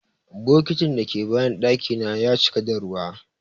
Bokitin dake bayan daki na ya cika da ruwa.